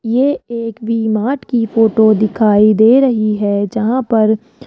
ये एक V Mart की फोटो दिखाई दे रही है जहां पर--